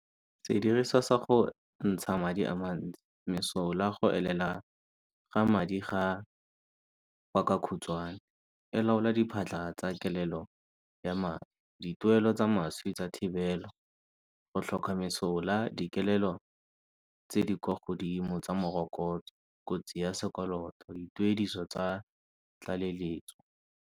Sediriswa sa gontsha madi a mantsi, mesola go elela ga madi ga . E laola diphatlha tsa kelelo ya madi. Dituelo tsa maswi tsa thibelo go tlhoka mesola dikelelo tse di kwa godimo tsa morokotso, kotsi ya sekoloto dituediso tsa tlaleletso.